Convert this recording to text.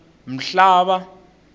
mhlava